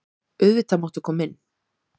Auðvitað máttu koma inn.